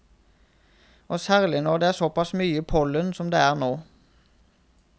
Og særlig når det er såpass mye pollen som det er nå.